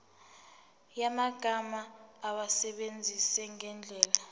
yamagama awasebenzise ngendlela